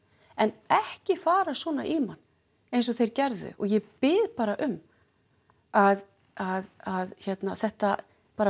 en ekki fara svona í mann eins og þeir gerðu og ég bið bara um að að að þetta